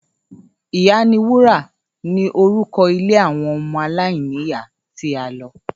‘Ìyá ni wúrà’ ni orúko̩ ilé àwo̩n o̩mo̩ aláìníyàá tí a lo̩